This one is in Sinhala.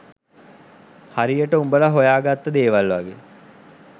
හරියට උඹල හොයාගත්ත දේවල් වගේ